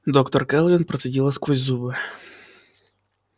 доктор кэлвин процедила сквозь зубы